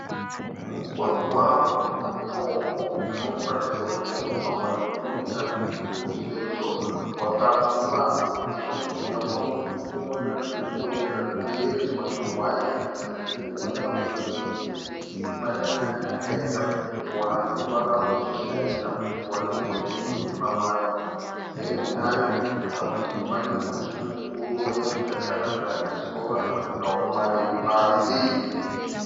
Mugwagwa une matombo unoratidza kuti unofambwa nemota huru sezvo wakapfumba. Necho mujinga mawo tiri kuona nzvimbo yakakomberedzwa nehwaya. Mukati mehwaya umu mune imba yakanaka yakapendwa neruvara ruchena ikapendwa nerwemeruni pamazen'e ayo. Parutivi pane muti mukuru wemuJacaranda nesora rakaoma riri pasi.